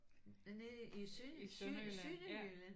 Nede i syd syd Sønderjylland?